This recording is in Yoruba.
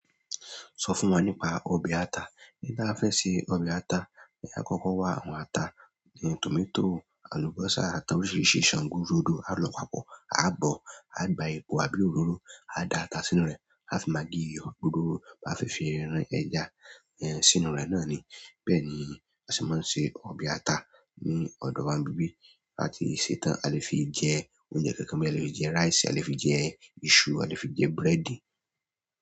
Sọ fún wa nípa ọbẹ̀ ata. Bí tí a fẹ́ ṣe ọbẹ̀ ata, ní a kọ́kọ́ wa àwọn ata, tòmátò, àlùbọ́sà, àtàwòn oríṣiríṣi, ṣàngú, rodo, à ń lọ pàkọ́, á bọ̀, á gba ẹ̀po àbí òróró, á da ata sínú rẹ̀, afi mággi, iyo, òróró, bá fi fi rán ẹja sínú rẹ̀ náà ni. Bẹ́ẹ̀ ni a ṣe máa ń se ọbẹ̀ ata ní ọ̀dọ̀ wa nbibí. Tabá ti sẹ́ tán, a lè fi jẹ oúnjẹ kankan boya e lè fi jẹ rice, e lè fi jẹ iṣu, e lè fi jẹ búrẹ́dì.